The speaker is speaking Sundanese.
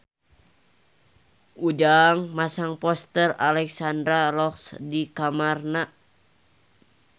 Ujang masang poster Alexandra Roach di kamarna